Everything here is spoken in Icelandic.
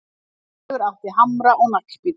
Hlynur átti hamra og naglbíta